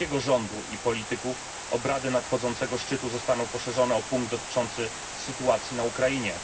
polskiego rządu i polityków obrady nadchodzącego szczytu zostaną poszerzone o punkt dotyczący sytuacji na Ukrainie.